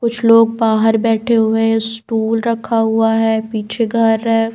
कुछ लोग बाहर बैठे हुए हैं स्टूल रखा हुआ है पीछे घर है।